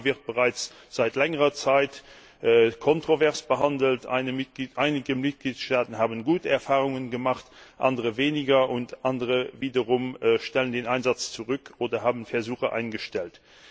Dieses Thema wird bereits seit längerer Zeit kontrovers behandelt, einige Mitgliedstaaten haben gute Erfahrungen gemacht, andere weniger gute, und andere wiederum stellen den Einsatz zurück oder haben ihre Versuche eingestellt.